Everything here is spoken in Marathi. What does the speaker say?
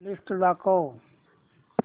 लिस्ट दाखव